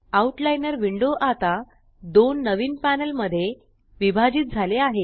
out liner window आता दोन नवीन पॅनल मध्ये विभाजित झाली आहे